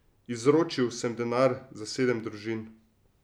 Izročil sem denar za sedem družin.